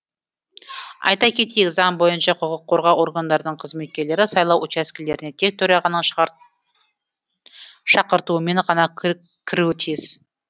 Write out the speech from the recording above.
айта кетейік заң бойынша құқық қорғау органдарының қызметкерлері сайлау учаскелеріне тек төрағаның шақыртуымен ғана кіруі тиіс